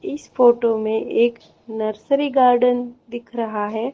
इस फोटो में एक नर्सरी गार्डन दिख रहा है।